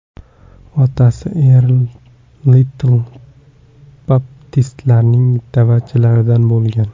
Otasi Erl Litl baptistlarning da’vatchilaridan bo‘lgan.